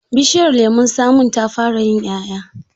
Bishiyar lemon tsamin ta fara yin 'ƴa'ƴa.